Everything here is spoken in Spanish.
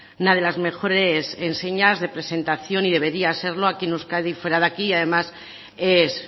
una de las mejores enseñas de presentación y debería serlo aquí en euskadi fuera de aquí además es